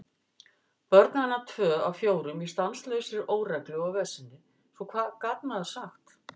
Börn hennar tvö af fjórum í stanslausri óreglu og veseni, svo hvað gat maður sagt?